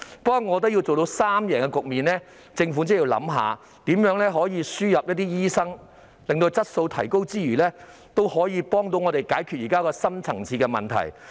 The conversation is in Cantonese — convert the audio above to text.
不過，我覺得要做到三贏局面，政府便真的要考慮如何輸入一些醫生，此舉能夠在提高質素之餘，亦有助解決現時的深層次問題。